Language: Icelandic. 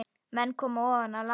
Menn komu ofan af landi.